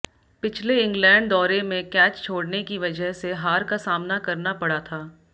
पिछले इंग्लैंड दौरे में कैच छोड़ने की वजह से हार का सामना करना पड़ा था